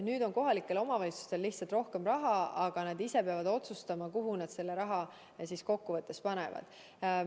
Nüüd on kohalikel omavalitsustel lihtsalt rohkem raha, aga nad ise peavad otsustama, kuhu nad selle raha panevad.